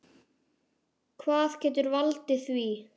Hvað getur valdið því?